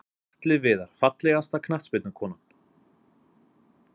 Atli Viðar Fallegasta knattspyrnukonan?